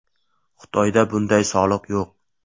Xitoyda bunday soliq yo‘q.